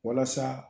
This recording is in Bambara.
Walasa